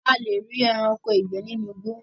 a le rí ẹranko ìgbẹ nínú igbó